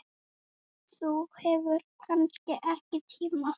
Þú hefur kannski ekki tíma?